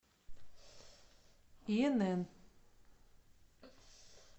инн